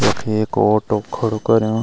यख एक ऑटो खडू कर्युं।